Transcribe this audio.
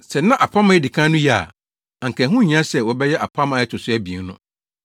Sɛ na apam a edi kan no ye a, anka ɛho nhia sɛ wɔbɛyɛ apam a ɛto so abien no.